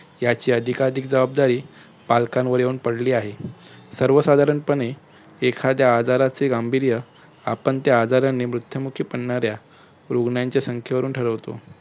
याची अधिकाधिक जबाबदारी प्लॅंक येऊन पडली आहे. सर्व साधारणपने एखाद्या आजाराचे गांभीर्य आपण त्या आजाराने मृत्युमुखी पडणाऱ्या रुग्नांच्या संख्येवरून ठरवतो.